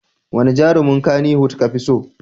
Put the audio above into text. Wane jarumin Kannywood kafi so?